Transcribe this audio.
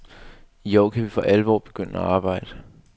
I år kan vi for alvor begynde at arbejde.